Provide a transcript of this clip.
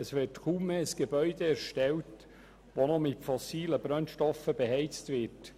Es wird kaum mehr ein Gebäude erstellt, das mit fossilen Brennstoffen beheizt wird.